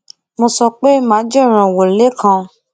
mo sọ pé màá jẹ rànwọ lékan